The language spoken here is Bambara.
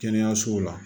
Kɛnɛyasow la